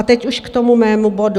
A teď už k tomu mému bodu.